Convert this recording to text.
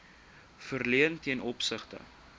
verleen ten opsigte